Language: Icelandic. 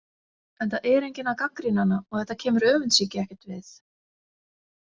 Enda er enginn að gagnrýna hana og þetta kemur öfundssýki ekkert við .